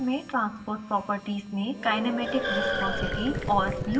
constant folder में transport properties में kinematic viscosity